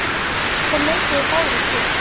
Þeir neituðu báðir sök.